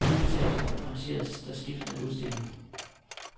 I stueetagen arrangeres der skiftende udstillinger.